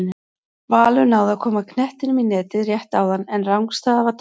Valur náði að koma knettinum í netið rétt áðan en rangstaða var dæmd.